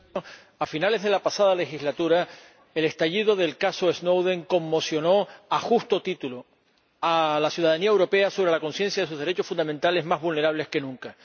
Señora Presidenta, a finales de la pasada legislatura el estallido del caso Snowden conmocionó, a justo título, a la ciudadanía europea y le hizo tomar conciencia de sus derechos fundamentales, más vulnerables que nunca.